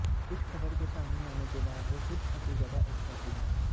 इस खबर के सामने आने के बाद वो खुद काफी ज्यादा एक्साइटेड हैं